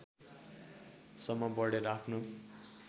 सम्म बढेर आफ्नो